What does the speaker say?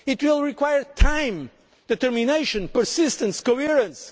solution it will require time, determination, persistence,